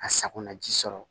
A sakona ji sɔrɔ